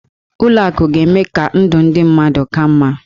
Ụlọ akụ ga-eme ka ndụ ndị mmadụ ka mma.